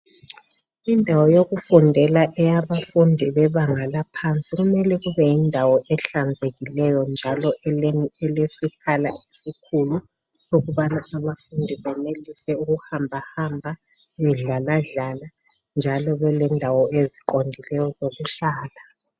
Indawo yokufundela eyabafundi bebanga laphansi kumele kube yindawo ehlanzekileyo njalo elesikhala esikhulu sokubana abafundi benelise ukuhambahamba, bedlaladlala njalo belendawo eziqondileyo ezokuhlala.